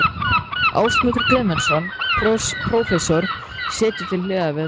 Ásmundur Guðmundsson, prófessor, situr til hliðar við þá.